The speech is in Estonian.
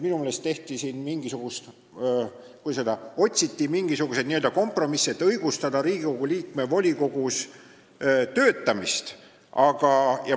Minu meelest, kuidas öelda, otsiti siin mingisugust kompromissi, et õigustada Riigikogu liikme volikogus töötamist.